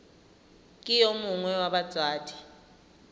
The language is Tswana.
ke yo mongwe wa batsadi